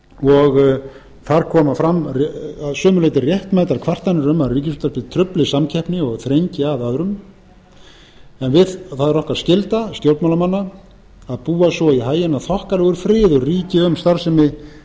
og þar koma fram að sumu leyti réttmætar kvartanir um að ríkisútvarpið trufli samkeppni og þrengi að öðrum en það er okkar skylda stjórnmálamanna að búa svo í haginn að þokkalegur friður ríki um starfsemi